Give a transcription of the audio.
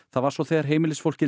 það var svo þegar heimilisfólkið